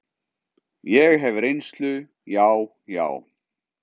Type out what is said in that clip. Ég hef reynslu, já, já.